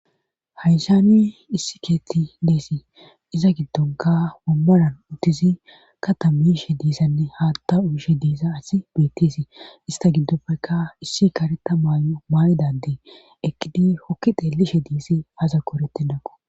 hayssani issi keetten desi iza giddonkka wombara bolla uttizi katta mishe dizanne haatta uyishe diza asi beettesi istha gidoppekka issi kareta mayuwa mayida ade eqqidi hokki xeellishe deesi azakko eretennakko.